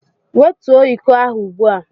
Wetuo iko ahụ ugbu a!